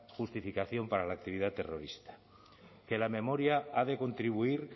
justificación para la actividad terrorista que la memoria ha de contribuir